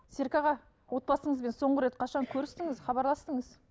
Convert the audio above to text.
серік аға отбасыңызбен соңғы рет қашан көрістіңіз хабарластыңыз